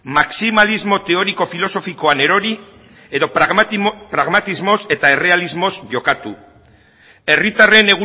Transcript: maximalismo teoriko filosofikoan erori edo pragmatismoz eta errealismoz jokatu herritarren